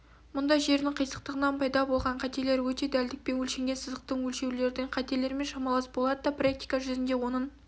мұнда жердің қисықтығынан пайда болған қателер өте дәлдікпен өлшенген сызықтың өлшеулердің қателермен шамалас болады да практика жүзінде оның